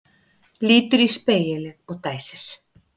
Lítur í spegilinn og dæsir.